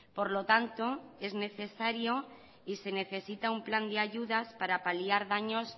por lo tanto es necesario y se necesita un plan de ayudas para paliar daños